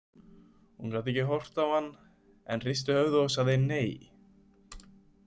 Hún gat ekki horft á hann en hristi höfuðið og sagði: Nei.